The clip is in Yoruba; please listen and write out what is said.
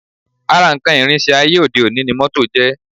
Ara nǹkan ìrìnsẹ̀ ayé òde òní ni moto jẹ́